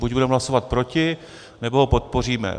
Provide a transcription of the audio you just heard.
Buď budeme hlasovat proti, nebo ho podpoříme.